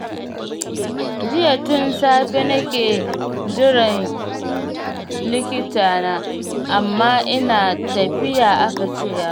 Jiya tun safe nake jiran likitana, amma ina tafiya aka ce yazo.